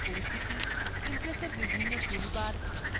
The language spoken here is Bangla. impressএর বিভিন্ন toolbars